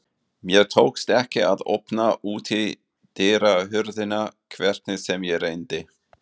Mér tókst ekki að opna útidyrahurðina hvernig sem ég reyndi.